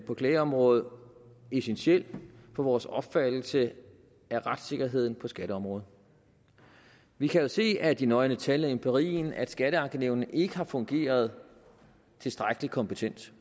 på klageområdet essentiel for vores opfattelse af retssikkerheden på skatteområdet vi kan jo se af de nøgne tal af empirien at skatteankenævnene ikke har fungeret tilstrækkelig kompetent